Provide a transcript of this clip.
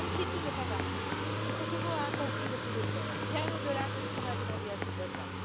Même si tout n'est pas parfait, le Kosovo a accompli beaucoup d'efforts, bien au delà de ce qu'on a demandé à ses voisins.